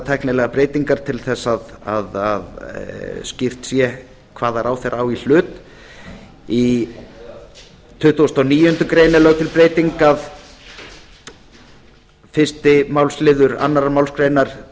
tæknilegar breytingar til að skýrt sé hvaða ráðherra á í hlut í tuttugasta og níundu grein frumvarpsins er lögð til sú breyting að fyrstu málsl annarri málsgrein